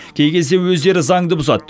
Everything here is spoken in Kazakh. кей кезде өздері заңды бұзады